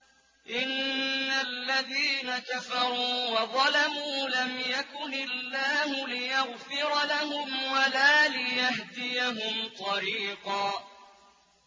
إِنَّ الَّذِينَ كَفَرُوا وَظَلَمُوا لَمْ يَكُنِ اللَّهُ لِيَغْفِرَ لَهُمْ وَلَا لِيَهْدِيَهُمْ طَرِيقًا